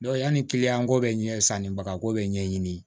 yanni ko bɛ ɲɛ sannibagako bɛ ɲɛɲini